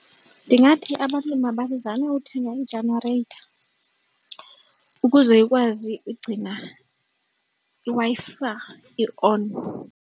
Ndingathi abantu mabazame uthenga ijenareyitha ukuze ikwazi ugcina iWi-Fi i-on.